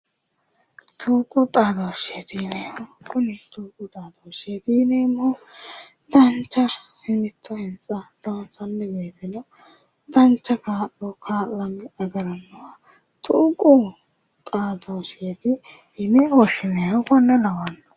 Tuqu xaadooshshe yineemmo kuni yineemmohu dancha loonsanni woyiiteno dancha kaa'lo kaa'le agarannoha tuqu xaadooshsheeti yine woshshinayiiho konne lawanno.